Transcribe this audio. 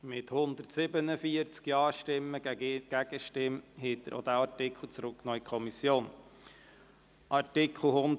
Mit 147 Ja-Stimmen bei 1 Gegenstimme haben Sie auch diesen Artikel an die Kommission zurückgewiesen.